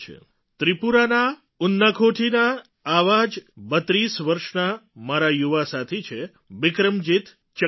ત્રિપુરાના ઉનાકોટીના આવા જ ૩૨ વર્ષના મારા યુવા સાથી છે બિક્રમજીત ચકમા